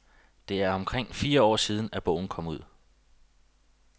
Det er omkring fire år siden, at bogen kom ud.